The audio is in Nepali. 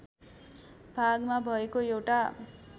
भागमा भएको एउटा